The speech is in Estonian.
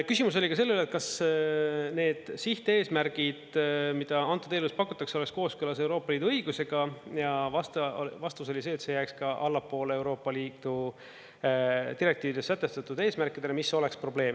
Küsimus oli ka selle üle, et kas need sihteesmärgid, mida antud eelnõus pakutakse, oleks kooskõlas Euroopa Liidu õigusega, ja vastus oli see, et see jääks ka allapoole Euroopa Liidu direktiivides sätestatud eesmärkidele, mis oleks probleem.